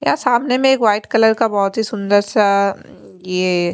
यह सामने में एक वाइट कलर का बहुत ही सुंदर ये--